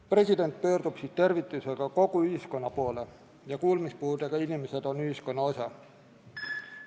President pöördub siis tervitusega kogu ühiskonna poole ja kuulmispuudega inimesed on ühiskonna osa.